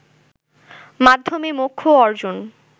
মাধ্যমে মোক্ষ অর্জন